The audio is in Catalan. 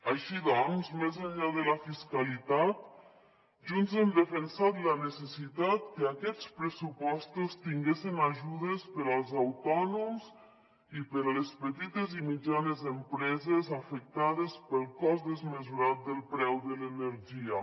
així doncs més enllà de la fiscalitat junts hem defensat la necessitat que aquests pressupostos tinguessin ajudes per als autònoms i per a les petites i mitjanes empreses afectades pel cost desmesurat del preu de l’energia